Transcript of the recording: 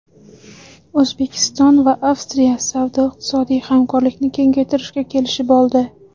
O‘zbekiston va Avstriya savdo-iqtisodiy hamkorlikni kengaytirishga kelishib oldi.